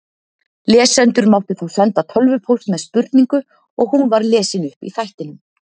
Lesendur máttu þá senda tölvupóst með spurningu og hún var lesin upp í þættinum.